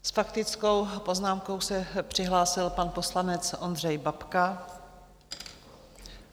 S faktickou poznámkou se přihlásil pan poslanec Ondřej Babka.